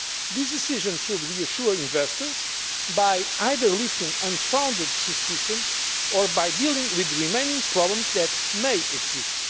do so. This decision should reassure investors by either lifting unfounded suspicion or by dealing with the remaining problems that may